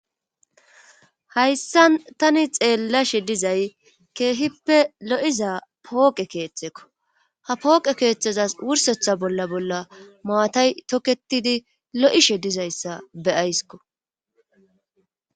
hayssa tani xeellashe dizay keehippe lo7iza pooqe keeththekko ha pooqe keeththezas wursetha bolla bolla maatay toketidi lo7ishe dizayssa beyayskko